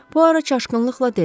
Buaro çaşqınlıqla dedi.